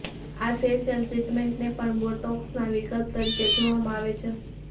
આ ફેશિયલ ટ્રીટેમન્ટને પણ બોટોક્સના વિકલ્પ તરીકે જોવામાં આવે છે